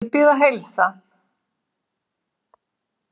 Ég bið að heilsa